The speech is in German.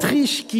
L’Autriche